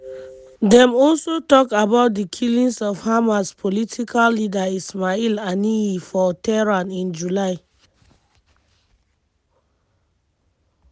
dem also tok about di killing of hamas political leader ismail haniyeh for tehran in july.